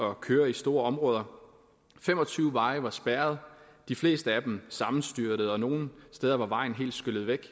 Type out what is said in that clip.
at køre i store områder fem og tyve veje var spærret de fleste af dem sammenstyrtede og nogle steder var vejen helt skyllet væk